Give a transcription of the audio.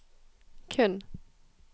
kun